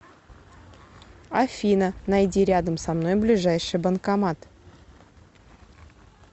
афина найди рядом со мной ближайший банкомат